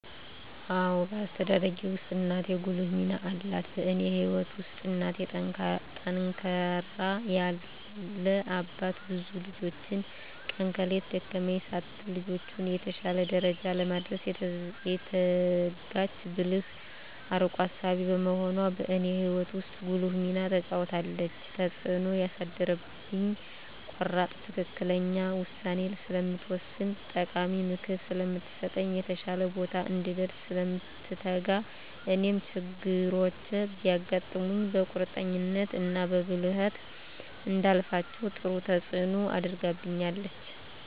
አዎ በአስተዳደጌ ውስጥ እናቴ ጉልህ ሚና አላት በእኔ ህይወት ውስጥ እናቴ ጠንካራ ያለ አባት ብዙ ልጆችን ቀን ከሌት ደከመኝ ሳትል ልጆቿን የተሻለ ደረጃ ለማድረስ የተጋች ብልህ አርቆ አሳቢ በመሆኗ በእኔ ህይወት ውስጥ ጉልህ ሚና ተጫውታለች። ተፅእኖ ያሳደረችብኝ ቆራጥ ትክክለኛ ውሳኔ ስለምትወስን ጠቃሚ ምክር ስለምትሰጥ፣ የተሻለ ቦታ እንድንደርስ ስለምትተጋ እኔም ችግሮች ቢያጋጥሙኝ በቁርጠኝነት እና በብልሀት እንዳልፋቸው ጥሩ ተፅኖ አድርጋብኛለች።